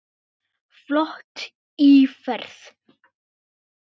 Flott íferð.